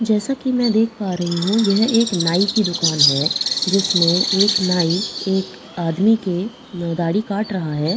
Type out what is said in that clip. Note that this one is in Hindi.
जैसा कि मैं देख पा रही हूं यह एक नाई की दुकान है जिसमें एक नाई एक आदमी के दाढ़ी काट रहा है।